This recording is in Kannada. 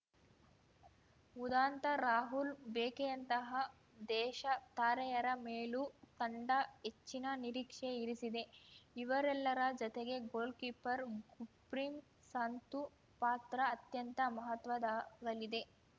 ಉದಾಂತ ರಾಹುಲ್‌ ಭೇಕೆಯಂತಹ ದೇಶ ತಾರೆಯರ ಮೇಲೂ ತಂಡ ಹೆಚ್ಚಿನ ನಿರೀಕ್ಷೆ ಇರಿಸಿದೆ ಇವರೆಲ್ಲರ ಜತೆಗೆ ಗೋಲ್‌ಕೀಪರ್‌ ಗುರ್ಪ್ರೀತ್‌ ಸಂತು ಪಾತ್ರ ಅತ್ಯಂತ ಮಹತ್ವದಾಗಲಿದೆ